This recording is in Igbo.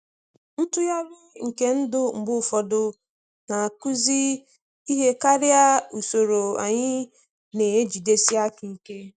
Ntughari nke ndụ mgbe ụfọdụ na-akụzi ihe karịa usoro anyị na-ejidesi aka ike.